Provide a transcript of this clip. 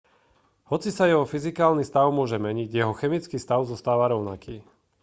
hoci sa jeho fyzikálny stav môže meniť jeho chemický stav zostáva rovnaký